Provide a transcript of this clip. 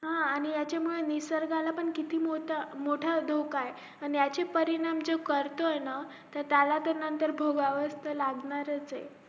हा आणि याचा मूळे निसर्गाला पण किती मोठा मोठा धोका ऐ याचे परिणाम जे करतोय ना त्याला ते भोगावे लागणार ए